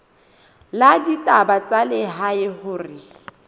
la ditaba tsa lehae hore